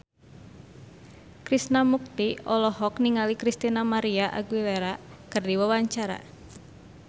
Krishna Mukti olohok ningali Christina María Aguilera keur diwawancara